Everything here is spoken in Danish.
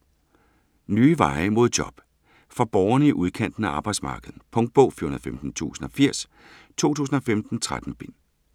Nye veje mod job For borgerne i udkanten af arbejdsmarkedet. Punktbog 415080 2015. 13 bind.